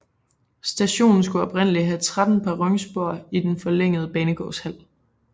Stationen skulle oprindeligt have 13 perronspor i den forlængede banegårdshal